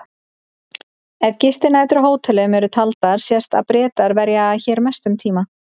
Ef gistinætur á hótelum eru taldar sést að Bretar verja hér mestum tíma.